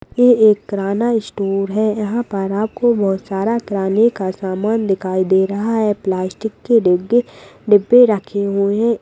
ये एक किराना स्टोर है यहाँ पर आपको बहुत सारा किराने का सामान दिखाई दे रहा है प्लास्टिक के डिब्बे डिब्बे रखे हुए है।